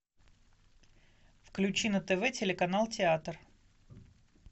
включи на тв телеканал театр